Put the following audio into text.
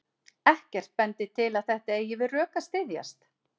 Ekkert bendir til að þetta eigi við rök að styðjast.